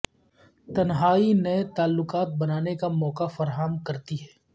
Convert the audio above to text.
تنہائی نئے تعلقات بنانے کا موقع فراہم کرتی ہے